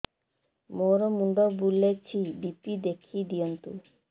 ମୋର ମୁଣ୍ଡ ବୁଲେଛି ବି.ପି ଦେଖି ଦିଅନ୍ତୁ